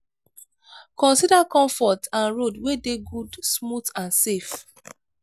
consider comfort and road wey dey good smooth and safe